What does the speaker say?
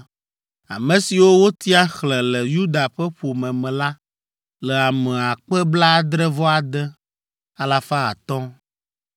Ame siwo wotia xlẽ le Yuda ƒe ƒome me la le ame akpe blaadre-vɔ-ade, alafa atɔ̃ (76,500).